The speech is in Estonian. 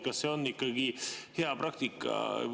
Kas see on ikkagi hea praktika?